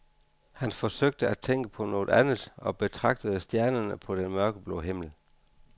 Han forsøgte at tænke på noget andet og betragtede stjernerne på den mørkeblå himmel.